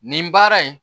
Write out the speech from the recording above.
Nin baara in